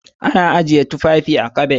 Ana ajiye tufafi a'kabad.